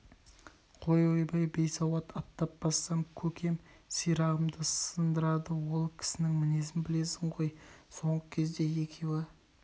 қой ойбай бейсауат аттап бассам көкем сирағымды сындырады ол кісінің мінезін білесің ғой соңғы кезде екеуі